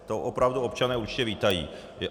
To opravdu občané určitě vítají.